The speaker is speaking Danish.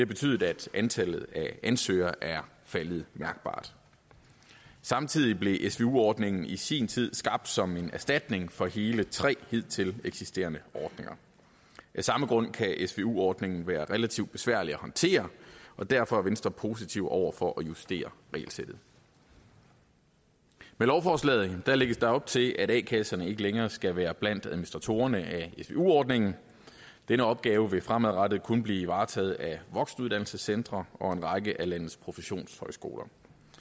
betydet at antallet af ansøgere er faldet mærkbart samtidig blev svu ordningen i sin tid skabt som en erstatning for hele tre hidtil eksisterende ordninger af samme grund kan svu ordningen være relativt besværlig at håndtere og derfor er venstre positiv over for at justere regelsættet med lovforslaget lægges der op til at a kasserne ikke længere skal være blandt administratorerne af svu ordningen denne opgave vil fremadrettet kun blive varetaget af voksenuddannelsescentre og en række af landets professionshøjskoler